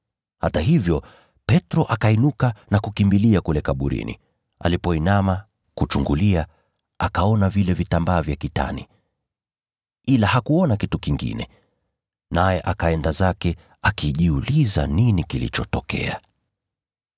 Hata hivyo, Petro akainuka na kukimbia kwenda kule kaburini. Alipoinama kuchungulia, akaona vile vitambaa vya kitani, ila hakuona kitu kingine. Naye akaenda zake akijiuliza nini kilichotokea.